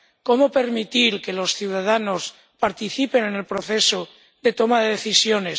cómo permitir que los ciudadanos participen en el proceso de toma de decisiones